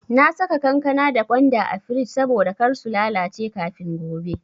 Na saka kankana da gwanda a frij saboda kar su lalace kafin gobe.